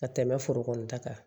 Ka tɛmɛ foro kɔni ta kan